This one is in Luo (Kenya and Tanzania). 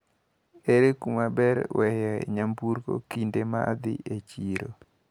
Ere kumaber weyo e nyamburko kinde maidhi e chiro?